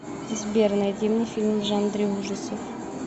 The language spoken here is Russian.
сбер найди мне фильм в жанре ужасов